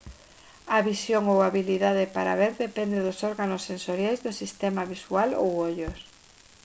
a visión ou a habilidade para ver depende dos órganos sensoriais do sistema visual ou ollos